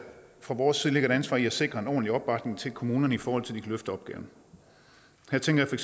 fra vores side ligger et ansvar i at sikre en ordentlig opbakning til kommunerne i forhold til kan løfte opgaven her tænker jeg